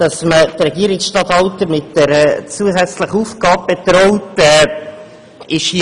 Auch dass man Regierungsstatthalter mit einer zusätzlichen Aufgabe betraut, ist richtig.